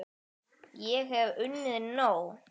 Ég hef unnið nóg!